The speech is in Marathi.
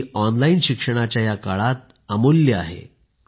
ती ऑनलाईन शिक्षणाच्या या काळात अमूल्य आहे